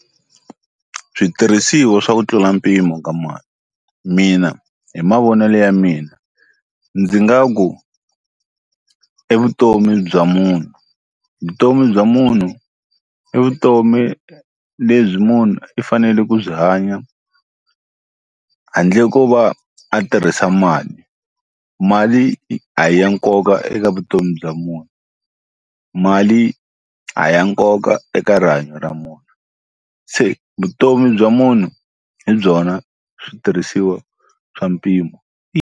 Switirhisiwa swa ku tlula mpimo ka mali mina hi mavonelo ya mina ndzi nga ku evutomini bya munhu vutomi bya munhu i vutomi lebyi munhu i fanele ku byi hanya handle ko va a tirhisa mali, mali a hi ya nkoka eka vutomi bya munhu mali a hi ya nkoka eka rihanyo ra munhu se vutomi bya munhu hi byona switirhisiwa swa mpimo.